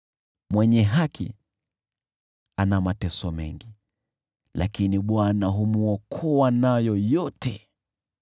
Mwenye haki ana mateso mengi, lakini Bwana humwokoa nayo yote,